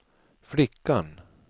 flickan